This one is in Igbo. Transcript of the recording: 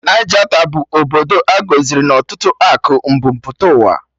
Naijata bụ obodo a gọziri na ọtụtụ akụ mbu mpụta ụwa